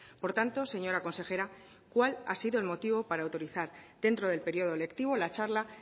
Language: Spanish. por tanto señora consejera cuál ha sido el motivo para autorizar dentro del periodo electivo la charla